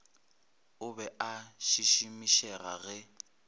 o be a šišimišega ge